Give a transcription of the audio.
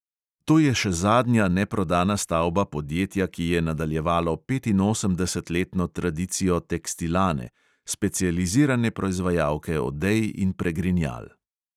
To je še zadnja neprodana stavba podjetja, ki je nadaljevalo petinosemdesetletno tradicijo tekstilane, specializirane proizvajalke odej in pregrinjal.